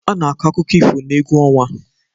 A na-akọ akụkọ ifo n'egwu ọnwa